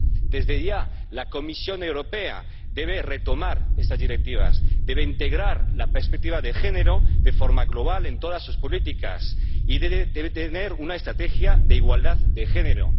Desde ya la Comisión Europea debe retomar estas Directivas, debe integrar la perspectiva de género de forma global en todas sus políticas y debe tener una estrategia de igualdad de género.